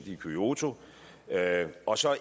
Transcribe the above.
i kyoto og så er